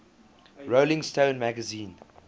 rolling stone magazine